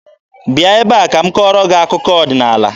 Bịa ebe a ka m kọọrọ gị akụkọ ọdịnaala!